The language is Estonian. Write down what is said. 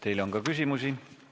Teile on ka küsimusi.